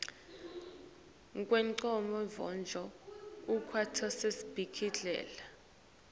kwengcondvo kwekuba sesibhedlela